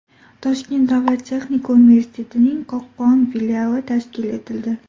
Toshkent davlat texnika universitetining Qo‘qon filiali tashkil etildi.